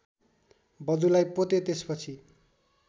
वधुलाई पोते त्यसपछि